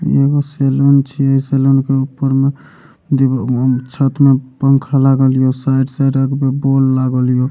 एगो सैलून छिये सैलून के ऊपर मे दूगो छत मे पंखा लागल हियो साइड साइड आर मे बल्ब लगल हिओ --